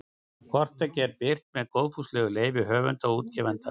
Hvort tveggja er birt með góðfúslegu leyfi höfunda og útgefanda.